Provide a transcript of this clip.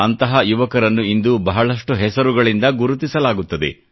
ಅಂತಹ ಯುವಕರನ್ನು ಇಂದು ಬಹಳಷ್ಟು ಹೆಸರುಗಳಿಂದ ಗುರುತಿಸಲಾಗುತ್ತದೆ